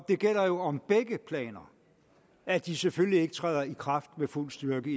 det gælder jo om begge planer at de selvfølgelig ikke træder i kraft med fuld styrke